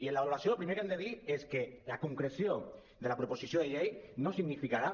i en la valoració el primer que hem de dir és que la concreció de la proposició de llei no significarà